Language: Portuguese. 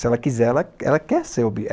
Se ela quiser, ela ela quer ser